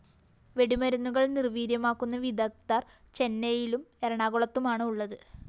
വെടിമരുന്നുകള്‍ നിര്‍വീര്യമാക്കുന്ന വിദഗ്ധര്‍ ചെന്നൈയിലും എറണാകുളത്തുമാണ് ഉള്ളത്